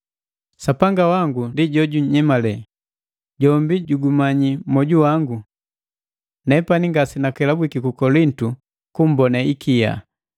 Sapanga wangu ndi jojunyemale, jombi jugumanyi moju wangu! Nepani ngasenakelabwiki ku Kolintu kumbone ikia.